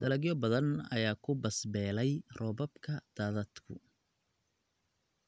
Dalagyo badan ayaa ku bas beelay roobabka daadadku.